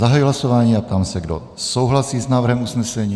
Zahajuji hlasování a ptám se, kdo souhlasí s návrhem usnesení.